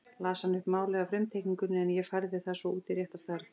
Las hann upp málið af frumteikningunni en ég færði það svo út í rétta stærð.